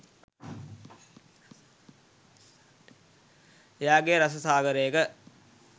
එයාගේ රස සාගරයක